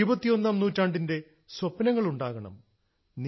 ഇരുപത്തിയൊന്നാം നൂറ്റാണ്ടിന്റെ സ്വപ്നങ്ങൾ ഉണ്ടാകണം